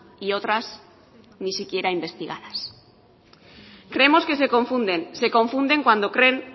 y otras ni siquiera investigadas creemos que se confunden se confunden cuando creen